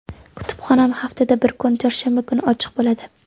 Kutubxonam haftada bir kun, chorshanba kuni ochiq bo‘ladi.